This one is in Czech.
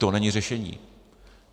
To není řešení.